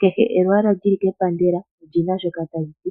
kehe olwaala lwepandela olina shoka taliti